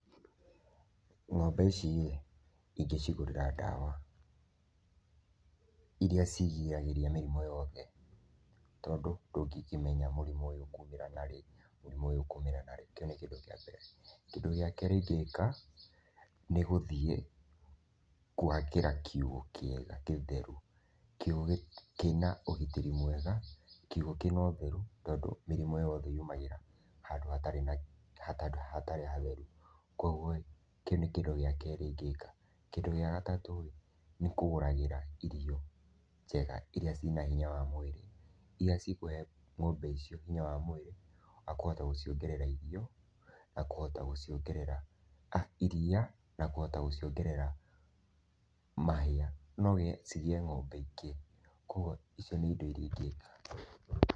Ng'ombe ici ĩ, ingĩcigũrĩra ndawa iria cigiragĩrĩria mĩrimũ yothe tondũ ndũngĩkĩmenya mũrimũ ũyũ ũkuumĩra narĩ, mũrimũ ũyũ ũkuumĩra narĩ, kĩu nĩ kĩndũ kĩa mbere. Kindũ gĩa keri ingĩĩka nĩ gũthiĩ kũakĩra kiũga kĩega, kĩtheru. Kiũgũ kĩna ũgitĩri mwega kiũgũ kĩna ũtheru tondũ mĩrimũ yothe yumagĩra handũ hatarĩ hatheru, kwoguo ĩ, kĩu nĩ kĩndũ gĩa kerĩ ingĩĩka. Kĩndũ gĩa gatatũ rĩ, nĩ kũgũragĩra irio njega, iria cina hinya wa mwĩrĩ, iria cikũhe ng'ombe icio hinya wa mwĩrĩ wa kũhota gũciongerera irio, na kũhota gũciongerera ah, iria, na kũhota gũciongerera mahĩa, no cigiĩe ng'ombe ingĩ kwoguo, icio nĩ indo iria ingĩĩka.